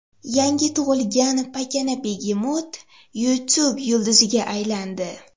Yangi tug‘ilgan pakana begemot YouTube yulduziga aylandi.